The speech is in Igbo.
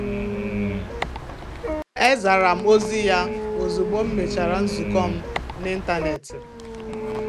E zara m ozi ya ozugbo m mechara nzukọ m n'ịntanetị.